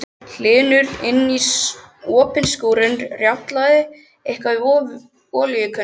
Hlynur inní opinn skúrinn og rjátlaði eitthvað við olíukönnu.